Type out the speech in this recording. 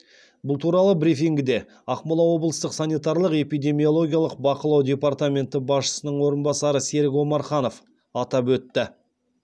бұл туралы брифингіде ақмола облыстық санитарлық эпидемиологиялық бақылау департаменті басшысының орынбасары серік омарханов атап өтті